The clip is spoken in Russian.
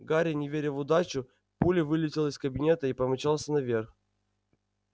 гарри не веря в удачу пулей вылетел из кабинета и помчался наверх